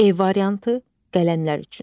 E variantı: qələmlər üçün.